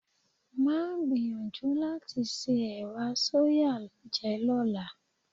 Máa gbìyànjú láti se ẹ̀wà sóyà jẹ lọ́la.